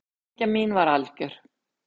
Hamingja mín var algjör.